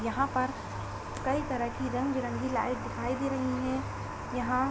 यहाँ पर कई तरह की रंगबिरंगी लाइट दिखाई दे रही हैं। यहाँ --